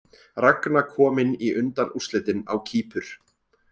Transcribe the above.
Ragna komin í undanúrslitin á Kýpur